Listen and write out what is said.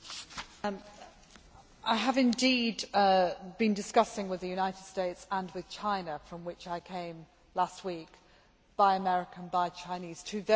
I have indeed been discussing with the United States and with China from which I came last week Buy American' and Buy Chinese' two very different programmes